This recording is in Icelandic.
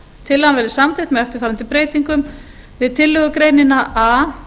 tillagan verði samþykkt með eftirfarandi breytingum við tillögugreinina a